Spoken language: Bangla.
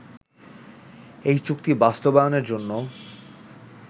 এই চুক্তি বাস্তবায়নের জন্য